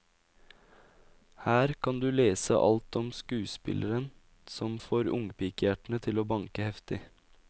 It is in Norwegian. Her kan du lese alt om skuespilleren som får ungpikehjertene til å banke heftig.